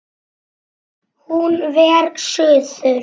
Hún fer suður.